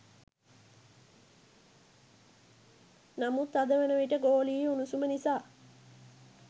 නමුත් අද වනවිට ගෝලීය උණුසුම නිසා